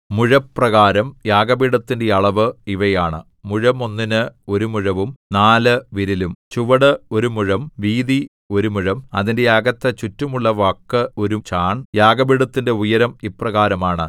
മുഴപ്രകാരം യാഗപീഠത്തിന്റെ അളവ് ഇവയാണ് മുഴം ഒന്നിന് ഒരു മുഴവും നാല് വിരലും ചുവട് ഒരു മുഴം വീതി ഒരു മുഴം അതിന്റെ അകത്ത് ചുറ്റുമുള്ള വക്ക് ഒരു ചാൺ യാഗപീഠത്തിന്റെ ഉയരം ഇപ്രകാരമാണ്